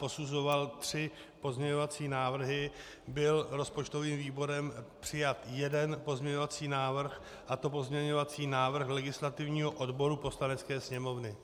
Posuzoval tři pozměňovací návrhy, byl rozpočtovým výborem přijat jeden pozměňovací návrh, a to pozměňovací návrh legislativního odboru Poslanecké sněmovny.